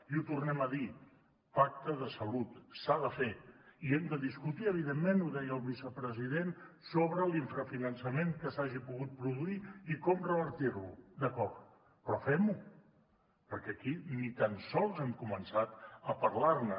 i ho tornem a dir pacte de salut s’ha de fer i hem de discutir evidentment ho deia el vicepresident sobre l’infrafinançament que s’hagi pogut produir i com revertir lo d’acord però fem ho perquè aquí ni tan sols hem començat a parlar ne